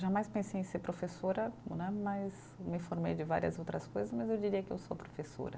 Jamais pensei em ser professora né, mas me formei de várias outras coisas, mas eu diria que eu sou professora.